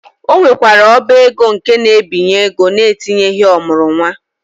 Ọ nwekwara ọba ego nke na-ebinye ego na-etinyeghị ọ mụrụ nwa.